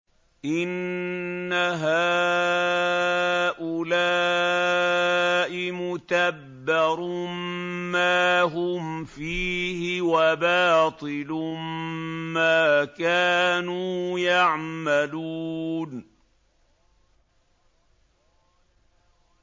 إِنَّ هَٰؤُلَاءِ مُتَبَّرٌ مَّا هُمْ فِيهِ وَبَاطِلٌ مَّا كَانُوا يَعْمَلُونَ